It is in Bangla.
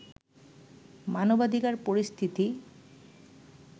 মানবাধিকার পরিস্থিতি